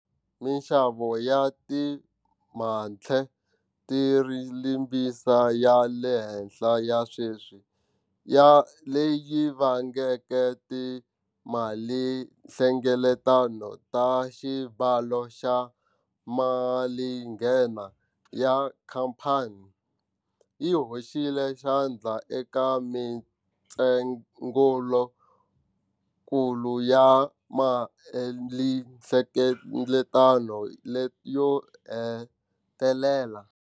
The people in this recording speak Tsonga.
Mixavo ya timatheriyalimbisi ya le henhla ya sweswi, leyi vangeke timalinhlengeleto ta xibalo xa malinghena ya khamphani, yi hoxile xandla eka mitsengokulu ya malinhlengeleto leyo hetelela.